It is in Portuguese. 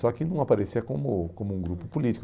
Só que não aparecia como como um grupo político.